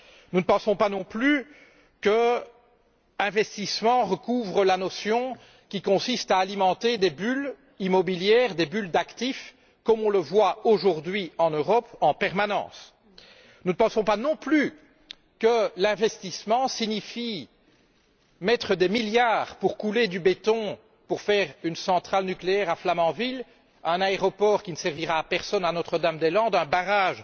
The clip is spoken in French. Nous ne pensons pas non plus que l'investissement recouvre la notion qui consiste à alimenter des bulles immobilières ou des bulles d'actifs, comme nous le voyons aujourd'hui en permanence en Europe. Nous ne pensons pas non plus qu'investir signifie mettre des milliards afin de couler du béton pour faire une centrale nucléaire à Flamanville, un aéroport qui ne servira à personne à Notre Dame des Landes, un barrage